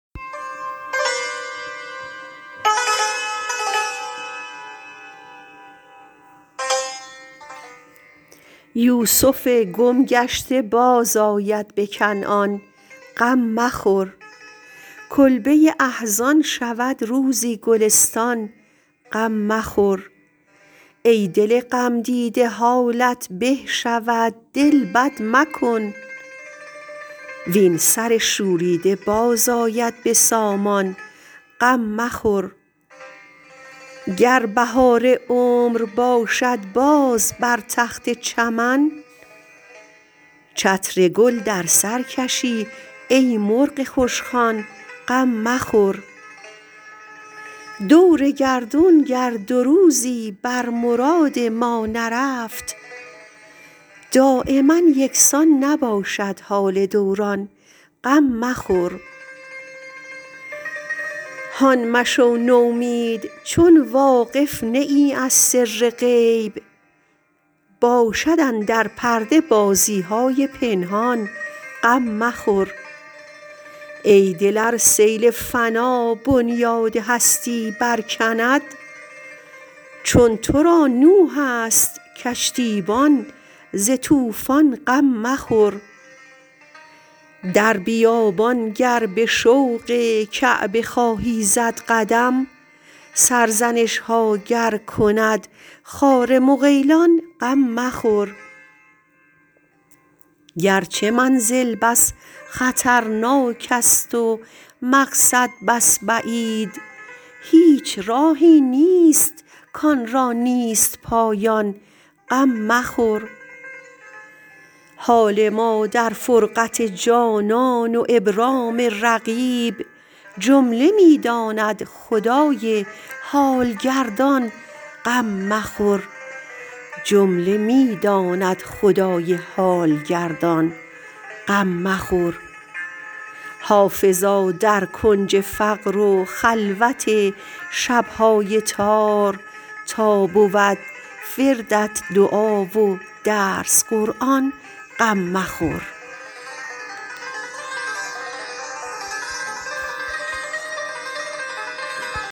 یوسف گم گشته بازآید به کنعان غم مخور کلبه احزان شود روزی گلستان غم مخور ای دل غمدیده حالت به شود دل بد مکن وین سر شوریده باز آید به سامان غم مخور گر بهار عمر باشد باز بر تخت چمن چتر گل در سر کشی ای مرغ خوشخوان غم مخور دور گردون گر دو روزی بر مراد ما نرفت دایما یکسان نباشد حال دوران غم مخور هان مشو نومید چون واقف نه ای از سر غیب باشد اندر پرده بازی های پنهان غم مخور ای دل ار سیل فنا بنیاد هستی برکند چون تو را نوح است کشتیبان ز طوفان غم مخور در بیابان گر به شوق کعبه خواهی زد قدم سرزنش ها گر کند خار مغیلان غم مخور گرچه منزل بس خطرناک است و مقصد بس بعید هیچ راهی نیست کآن را نیست پایان غم مخور حال ما در فرقت جانان و ابرام رقیب جمله می داند خدای حال گردان غم مخور حافظا در کنج فقر و خلوت شب های تار تا بود وردت دعا و درس قرآن غم مخور